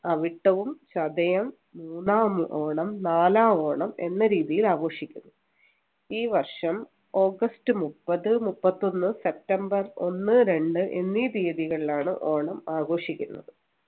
അവിട്ടവും ചതയം മൂന്നാം ഓണം നാലാം ഓണം എന്ന രീതിയിൽ ആഘോഷിക്കുന്നു ഈ വർഷം ഓഗസ്റ്റ് മുപ്പത് മുപ്പത്തൊന്നു സെപ്റ്റംബർ ഒന്ന് രണ്ട് എന്നീ തീയതികളിൽ ആണ് ഓണം ആഘോഷിക്കുന്നത്